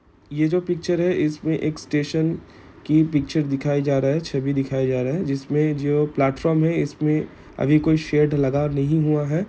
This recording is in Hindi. ये जो पिक्चर है इसमे के स्टेशन की पिक्चर दिखाया जा रहा है छवि दिखाया जा रहा है जिसमे जो प्लेटफॉर्म है इसमे अभी कोई शेड लगा नहीं हुआ है।